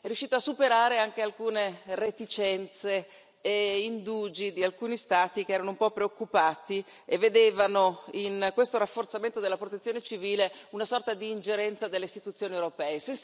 è riuscito a superare anche alcune reticenze e indugi di alcuni Stati che erano un po' preoccupati e vedevano in questo rafforzamento della protezione civile una sorta di ingerenza delle Istituzioni europee.